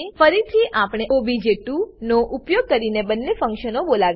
ફરીથી આપણે ઓબીજે2 નો ઉપયોગ કરીને બંને ફંક્શનો બોલાવીએ છીએ